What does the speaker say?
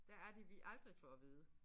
Hvad er det vi aldrig får at vide